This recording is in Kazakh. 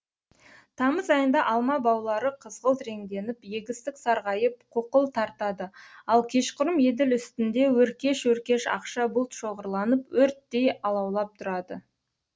тамыз айында алма баулары қызғылт реңденіп егістік сарғайып қуқыл тартады ал кешқұрым еділ үстінде өркеш өркеш ақша бұлт шоғырланып өрттей алаулап тұрады